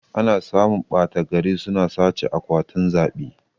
Ana samun ɓata gari suna sace akwatin zaɓe